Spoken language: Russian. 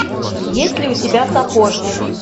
есть ли у тебя сапожник